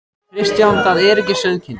Kristján: Það er ekki sauðkindin?